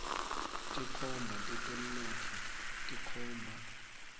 tinkhomba tetemnotfo tikhomba